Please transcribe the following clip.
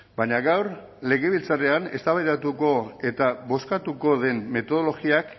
baina gaur legebiltzarrean eztabaidatuko eta bozkatuko den metodologiak